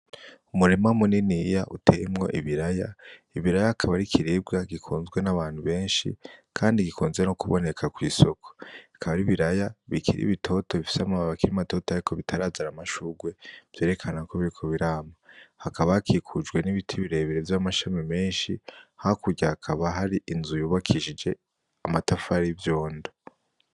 Umurima muniniya uteyemwo ibiraya ibiraya akaba ari Ikiribwa gikunzwe n’abantu benshi kandi gikunze no kuboneka kw’isoko bikaba ari ibiraya bikiri bitoto bifise amababi akiri matoto ariko bitarazana amashurwe vyerekana ko biriko birama, hakaba hakikujwe n’ibiti birebire vy’amashami menshi hakurya hakaba hari inzu yubakishije amatafari n’ivyondo.